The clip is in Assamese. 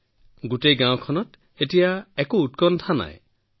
এতিয়া গোটেই গাওঁখনত কোনো চিন্তা নাই